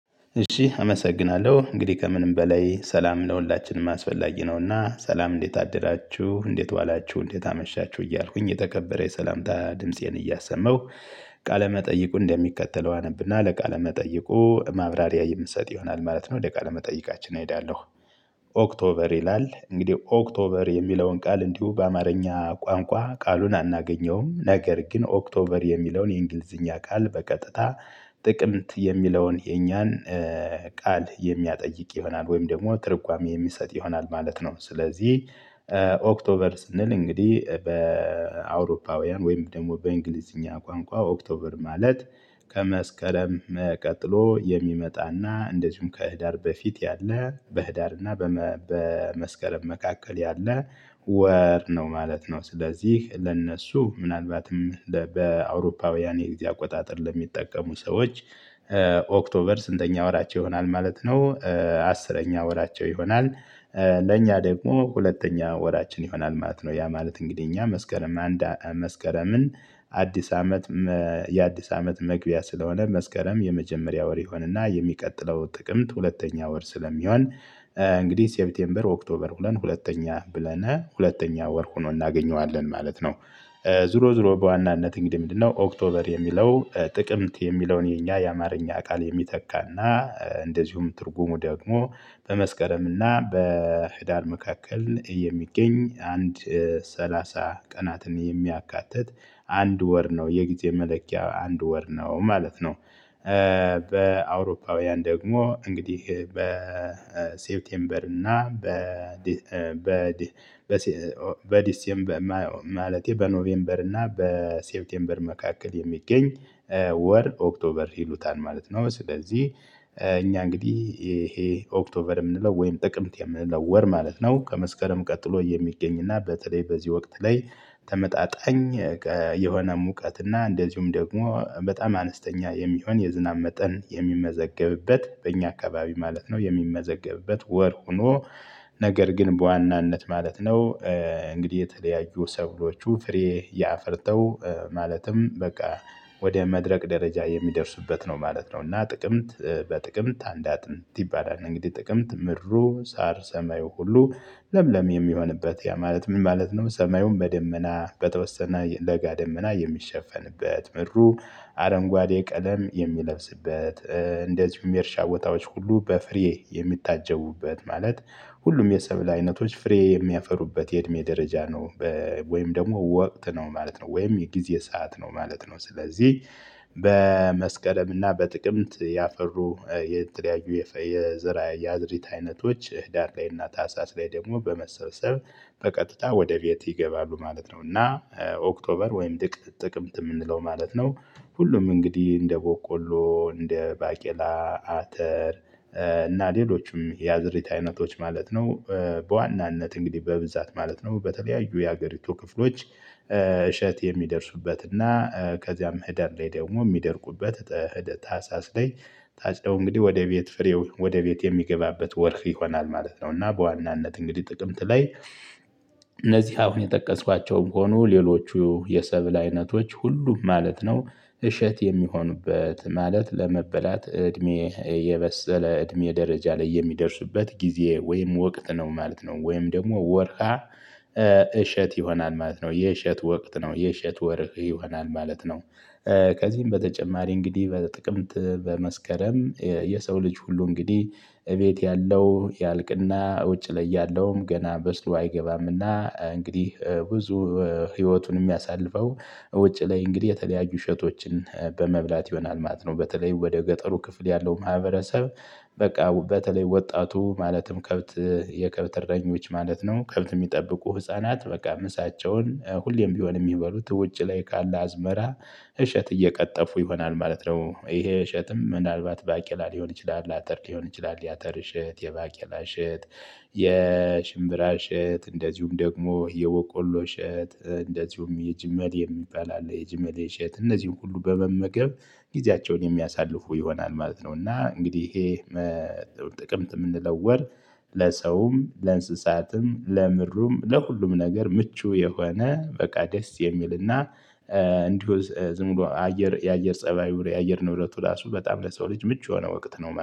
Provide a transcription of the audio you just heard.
እሺ አመሰግናለሁ እንግዲህ ከምንም በላይ ሰላም ለሁላችንም አስፈላጊ ነውና ሰላም እንዴት አደራችሁ እንዴት ዋላችሁ እንዴት አመሻችሁ እያልኩኝ የተከበረ የሰላምታ ድምፄን እያሰማሁ ቃለ መጠይቁ እንደሚከተለው አነብና ለቃለ መጠይቁ ማብራሪያ የምሰጥ ይሆናል ማለት ነው ለቃለ መጠይቃችን እሄዳለሁ። ኦክቶበር ይላል እንግዲህ ኦክቶበር የሚለውን ቃል እንዲሁ በአማርኛ ቋንቋ ቃሉን አናገኘውም ነገር ግን ኦክቶበር የሚለውን የእንግሊዝኛ ቃል በቀጥታ ጥቅምት የሚለውን የኛን ቃል የሚያጠይቅ ይሆናል ወይም ደግሞ ትርጓሜ የሚሰጥ ይሆናል ማለት ነው። ስለዚህ ኦክቶበር ስንል እንግዲህ በአውሮፓውያን ወይም ደግሞ በእንግሊዝኛ ቋንቋ ኦክቶበር ማለት ከመስከረም ቀጥሎ የሚመጣና እንደዚሁም ከህዳር በፊት ያለ በህዳርና በመስከረም መካከል ያለ ወር ነው ማለት ነው። ስለዚህ ለእነሱ ምናልባትም በአውሮፓውያን የጊዜ አቆጣጠር ለሚጠቀሙ ሰዎች ኦክቶበር ስንተኛ ወራቸው ይሆናል ማለት ነው አስረኛ ወራቸው ይሆናል። ለእኛ ደግሞ ሁለተኛ ወራችን ይሆናል ማለት ነው። ያ ማለት እንግዲህ እኛ መስከረም አንዳ መስከረምን አዲስ አመት የአዲስ አመት መግቢያ ስለሆነ መስከረም የመጀመሪያ ወር ይሆንና የሚቀጥለው ጥቅምት ሁለተኛ ወር ስለሚሆን እንግዲህ ሴፕቴምበር ኦክቶበር ብለን ሁለተኛ ብለን ሁለተኛ ወር ሆኖ እናገኘዋለን ማለት ነው። ዙሮ ዙሮ በዋናነት እንግዲህ ምንድነው? ኦክቶበር የሚለው ጥቅምት የሚለውን የኛ የአማርኛ ቃል የሚተካና እንደዚሁም ትርጉሙ ደግሞ በመስከረም እና በህዳር መካከል የሚገኝ አንድ ሰላሳ ቀናትን የሚያካትት አንድ ወር ነው የጊዜ መለኪያ አንድ ወር ነው ማለት ነው። በአውሮፓውያን ደግሞ እንግዲህ በሴፕቴምበር እና በ በዲሴምበር ማለቴ በኖቬምበር እና በሴብቴምበር መካከል የሚገኝ ወር ኦክቶበር ይሉታል ማለት ነው። ስለዚህ እኛ እንግዲህ ይሄ ኦክቶበር የምንለው ወይም ጥቅምት የምንለው ወር ማለት ነው ከመስከረም ቀጥሎ የሚገኝና በተለይ በዚህ ወቅት ላይ ተመጣጣኝ የሆነ ሙቀት እና እንደዚሁም ደግሞ በጣም አነስተኛ የሚሆን የዝናብ መጠን የሚመዘገብበት በእኛ አካባቢ ማለት ነው የሚመዘገብበት ወር ሆኖ ነገር ግን በዋናነት ማለት ነው። እንግዲህ የተለያዩ ሰብሎቹ ፍሬ ያ አፍርተው ማለትም በቃ ወደ መድረቅ ደረጃ የሚደርስበት ነው ማለት ነው። እና ጥቅምት በጥቅምት አንዳት ይባላል እንግዲህ ጥቅምት ምድሩ ሳር ሰማዩ ሁሉ ለምለም የሚሆንበት ያ ማለት ምን ማለት ነው ሰማዩም በደመና በተወሰነ ለጋ ደመና የሚሸፈንበት ምድሩ አረንጓዴ ቀለም የሚለብስበት እንደዚሁም የርሻ ቦታዎች ሁሉ በፍሬ የሚታጀቡበት ማለት ሁሉም የሰብል አይነቶች ፍሬ የሚያፈሩበት የእድሜ ደረጃ ነው። ወይም ደግሞ ወቅት ነው ማለት ነው ወይም የጊዜ ሰዓት ነው ማለት ነው። ስለዚህ በመስከረም እና በጥቅምት ያፈሩ የተለያዩ የዘር ያዝርት አይነቶች ህዳር ላይ እና ታህሳስ ላይ ደግሞ በመሰብሰብ በቀጥታ ወደ ቤት ይገባሉ ማለት ነው። እና ኦክቶበር ወይም ጥቅምት የምንለው ማለት ነው ሁሉም እንግዲህ እንደ ቦቆሎ እንደ ባቄላ፣ አተር እና ሌሎችም የአዝዕርት አይነቶች ማለት ነው። በዋናነት እንግዲህ በብዛት ማለት ነው በተለያዩ የሀገሪቱ ክፍሎች እሸት የሚደርሱበት እና ከዚያም ህዳር ላይ ደግሞ የሚደርቁበት ታህሳስ ላይ ጣጭደው እንግዲህ ወደ ቤት ፍሬው ወደ ቤት የሚገባበት ወር ይሆናል ማለት ነው። እና በዋናነት እንግዲህ ጥቅምት ላይ እነዚህ አሁን የጠቀስኳቸውም ሆኖ ሌሎቹ የሰብል አይነቶች ሁሉም ማለት ነው እሸት የሚሆኑበት ማለት ለመበላት እድሜ የበሰለ እድሜ ደረጃ ላይ የሚደርስበት ጊዜ ወይም ወቅት ነው ማለት ነው። ወይም ደግሞ ወርሃ እሸት ይሆናል ማለት ነው የእሸት ወቅት ነው የእሸት ወርቅ ይሆናል ማለት ነው። ከዚህም በተጨማሪ እንግዲህ በጥቅምት በመስከረም የሰው ልጅ ሁሉ እንግዲህ እቤት ያለው ያልቅና ውጭ ላይ ያለውም ገና በስሎ አይገባምና እንግዲህ ብዙ ህይወቱን የሚያሳልፈው ውጪ ላይ እንግዲህ የተለያዩ እሸቶችን በመብላት ይሆናል ማት ነው በተለይ ወደ ገጠሩ ክፍል ያለው ማህበረሰብ። በቃ በተለይ ወጣቱ ማለትም ከብት የከብት እረኞች ማለት ነው ከብት የሚጠብቁ ህፃናት በቃ ምሳቸውን ሁሌም ቢሆን የሚበሉት ውጭ ላይ ካለ አዝመራ እሸት እየቀጠፉ ይሆናል ማለት ነው፣ ይሄ እሸትም ምናልባት ባቄላ ሊሆን ይችላል፣ አተር ሊሆን ይችላል፣ ያተር እሸት፣ የባቄላ እሸት፣ የሽምብራ እሸት እንደዚሁም ደግሞ የወቆሎ እሸት እንደዚሁም የጅመል የሚባል አለ የጅመል እሸት እነዚህን ሁሉ በመመገብ ጊዜያቸውን የሚያሳልፉ ይሆናል ማለት ነው። እና እንግዲህ ይሄ ጥቅምት የምንለወር ለሰውም ለእንስሳትም ለምድሩም ለሁሉም ነገር ምቹ የሆነ በቃ ደስ የሚልና እንዲሁ ዝም ብሎ አየር የአየር ፀባዩ የአየር ንብረቱ ራሱ በጣም ለሰው ልጅ ምቹ የሆነ ወቅት ማለት ነው።